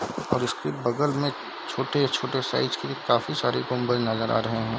और उसके बगल में छोटे छोटे साइज के काफी सारे गुंबद नजर आ रहे है।